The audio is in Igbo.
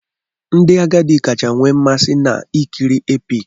Ndị agadi kacha we mmasi na-ekiri Epici.